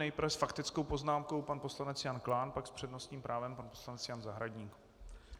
Nejprve s faktickou poznámkou pan poslanec Jan Klán, pak s přednostním právem pan poslanec Jan Zahradník.